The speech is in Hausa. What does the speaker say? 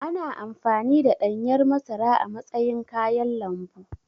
Ana amfani da ɗanyar masara a matsayin kayan lambu.